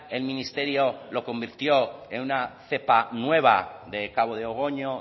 el ministerio lo convirtió en una cepa nueva de cabo de ogoño